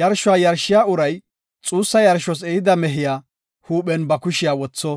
Yarshuwa yarshiya uray xuussa yarshos ehida mehiya huuphen ba kushiya wotho.